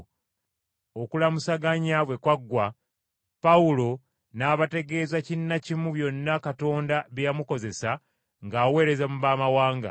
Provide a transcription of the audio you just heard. Okulamusaganya bwe kwaggwa, Pawulo n’abategeeza kinnakimu byonna Katonda bye yamukozesa ng’aweereza mu baamawanga.